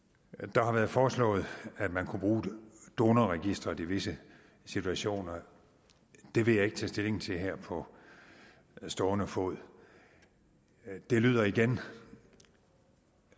der har været foreslået at man kunne bruge donorregisteret i visse situationer det vil jeg ikke tage stilling til her på stående fod det lyder igen